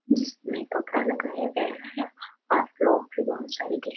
जिसमे कपड़ा लगाया है आप लोग भी बहुत सारे दिख --